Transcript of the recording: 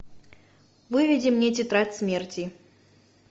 выведи мне тетрадь смерти